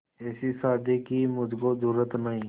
ऐसी शादी की मुझको जरूरत नहीं